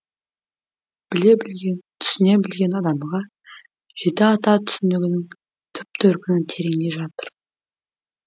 біле білген түсіне білген адамға жеті ата түсінігінің түп төркіні тереңде жатыр